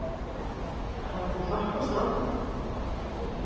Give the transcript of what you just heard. Hafa þau hjálpað strákunum?